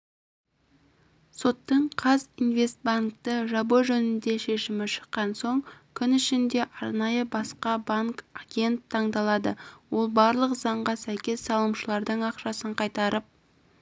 соттың қазинвестбанкті жабу жөніндегі шешімі шыққан соң күн ішінде арнайы басқа банк агент таңдалады ол барлық заңға сәйкес салымшылардың ақшасын қайтарып